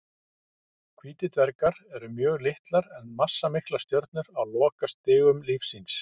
Hvítir dvergar eru mjög litlar en massamiklar stjörnur á lokastigum lífs síns.